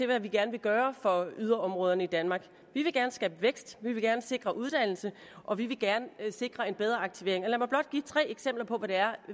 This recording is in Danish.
hvad vi gerne vil gøre for yderområderne i danmark vi vil gerne skabe vækst vi vil gerne sikre uddannelse og vi vil gerne sikre en bedre aktivering lad mig blot give tre eksempler på hvad det er